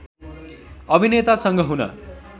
अभिनेतासँग हुन